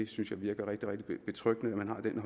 synes jeg virker rigtig rigtig betryggende